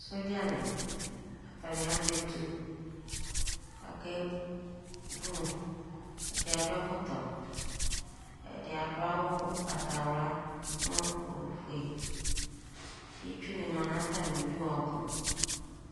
Sɔdzanɩ, atanɩ azɛ etu kʋ akevu Ɛdɩ adʋ ɛkɔtɔ Ɛdɩ adʋ awʋ ʋgbatawla nʋ ofue Itsunɩ ma nʋ atamɩdu ɔbʋ